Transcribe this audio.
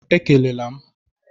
Ekele la m!